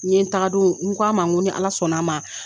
N ɲe tagadon, n ko a ma ni Ala sɔnna a ma